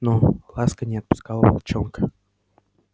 но ласка не отпускала волчонка